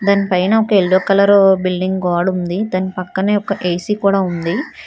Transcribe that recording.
దాని పైన ఒక ఎల్లో కలరు బిల్డింగ్ గోడుంది దాని పక్కనే ఒక ఏ_సి కూడా ఉంది.